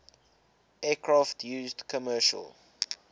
aircraft used commercial